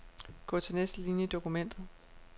Gå til næste linie i dokumentet.